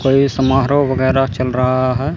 और ये समारोह वगैरह चल रहा है।